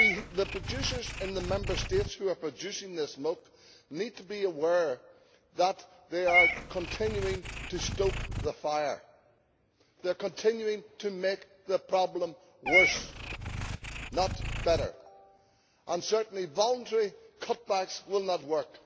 The producers in the Member States who are producing this milk need to be aware that they are continuing to stoke the fire, and that they are continuing to make the problem worse not better, and certainly voluntary cutbacks will not work.